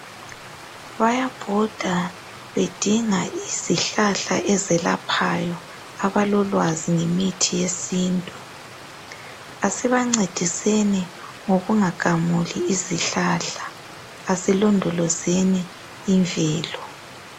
Bayabhoda bedinga izihlahla ezelaphayo abalolwazi ngemithi yesintu asibancediseni ngokungagamuli izihlahla asilondolozeni imvelo.